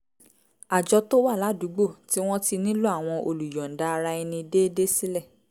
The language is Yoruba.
àjọ tó wà ládùúgbò tí wọ́n ti nílò àwọn olùyọ̀ǹda ara ẹni déédéé sílẹ̀